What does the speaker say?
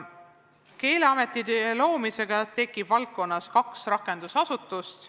Keeleameti loomisega tekib valdkonnas kaks rakendusasutust.